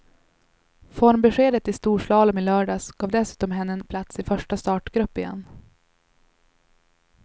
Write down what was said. Formbeskedet i storslalom i lördags gav dessutom henne en plats i första startgrupp igen.